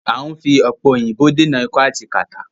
À ń fi òpẹ̀ òyìnbò dènà ikọ́ àti kàtá.